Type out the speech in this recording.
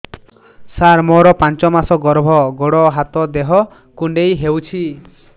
ସାର ମୋର ପାଞ୍ଚ ମାସ ଗର୍ଭ ଗୋଡ ହାତ ଦେହ କୁଣ୍ଡେଇ ହେଉଛି